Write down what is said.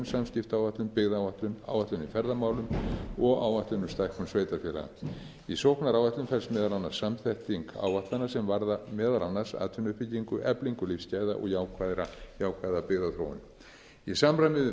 samskiptaáætlun byggðaáætlun áætlun í ferðamálum og áætlun um stækkun sveitarfélaga í sóknaráætlun felst meðal annars samþætting áætlana sem varða meðal annars atvinnuuppbyggingu eflingu lífsgæða og jákvæða byggðaþróun í samræmi við